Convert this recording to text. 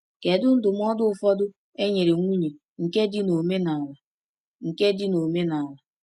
Kedu ndụmọdụ ụfọdụ e nyere nwunye nke dị n’omenala? nke dị n’omenala?